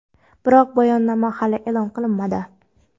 biroq bayonnoma hali e’lon qilinmadi.